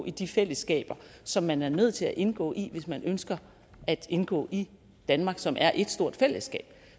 i de fællesskaber som man er nødt til at indgå i hvis man ønsker at indgå i danmark som er et stort fællesskab